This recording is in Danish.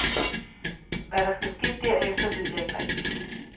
Hvad der skal ske derefter, ved jeg ikke rigtig.